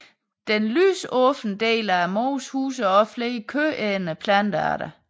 Den lysåbne del af mosen huser også flere kødædende plantearter